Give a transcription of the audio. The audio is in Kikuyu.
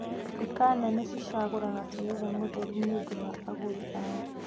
Nduka nene ci ragũra terere mũtheru nĩ ũndũ wa agũri a o.